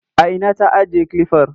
A ina ta ajiye kilifar?